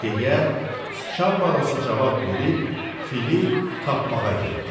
deyə sıçan balası cavab verib fili tapmağa getdi.